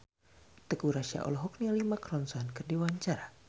Teuku Rassya olohok ningali Mark Ronson keur diwawancara